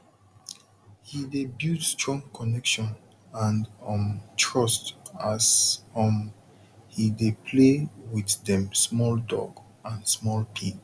he dey build strong connection and um trust as um he dey play with dem small dog and small pig